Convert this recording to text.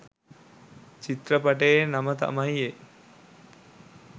චිත්‍රපටියේ නම තමයි ඒ